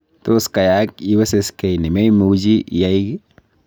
Tos kayaak iweseskei ne meimuchi iyaai ki